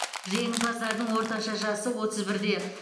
жеңімпаздардың орташа жасы отыз бірде